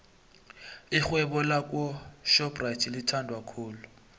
ixhewebo lakwo shopxathi lithandwa khulu